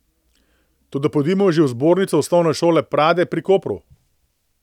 Toda pojdimo že v zbornico Osnovne šole Prade pri Kopru.